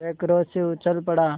वह क्रोध से उछल पड़ा